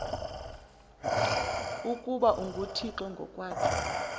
ukuba unguthixo ngokwakhe